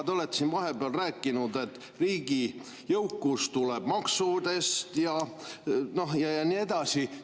Te olete siin vahepeal rääkinud, et riigi jõukus tuleb maksudest ja nii edasi.